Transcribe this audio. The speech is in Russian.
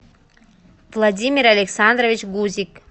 владимир александрович гузик